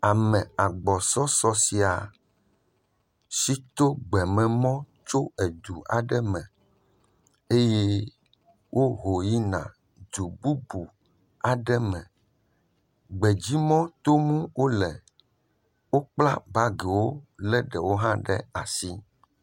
Ame agbɔsɔsɔ sia si to gbememɔ tso edu aɖe me eye woho yina du bubu aɖe me. Gbedzi mɔ tom wo le. Kpla bagiwo le ɖewo hã ɖe asi.